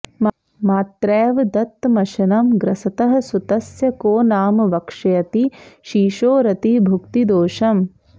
मात्रैव दत्तमशनं ग्रसतः सुतस्य को नाम वक्ष्यति शिशोरतिभुक्तिदोषम्